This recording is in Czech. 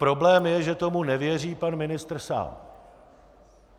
Problém je, že tomu nevěří pan ministr sám.